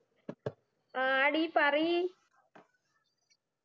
ആടി പറയ്